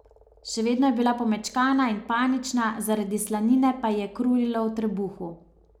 Še vedno je bila pomečkana in panična, zaradi slanine pa ji je krulilo v trebuhu.